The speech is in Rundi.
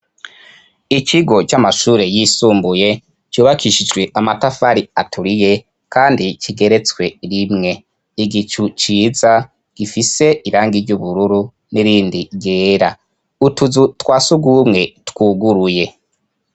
ikigo c'amashuri y'isumbuye cubakishijwe amatafari aturiye kandi kigeretswe rimwe igicu ciza gifise irangi ry'ubururu n'irindi ryera utuzu twasugumwe twuguruye